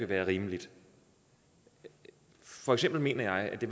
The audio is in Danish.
være rimeligt for eksempel mener jeg at det